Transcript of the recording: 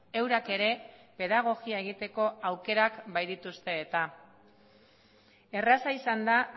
eurak ere pedagogia egiteko aukerak baitituzte eta erraza izan da